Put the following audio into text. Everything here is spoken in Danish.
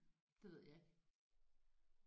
Det ved jeg ikke